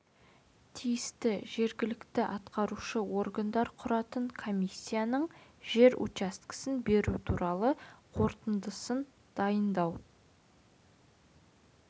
тиісті жергілікті атқарушы органдар құратын комиссияның жер учаскесін беру туралы қорытындысын дайындау